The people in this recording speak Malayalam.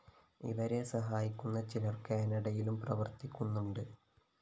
ഇവരെ സഹായിക്കുന്ന ചിലര്‍ കാനഡയിലും പ്രവര്‍ത്തിക്കുന്നുണ്ട്